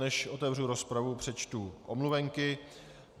Než otevřu rozpravu, přečtu omluvenky.